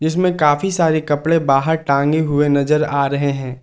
इसमें काफी सारे कपड़े बाहर टांगे हुए नजर आ रहे हैं।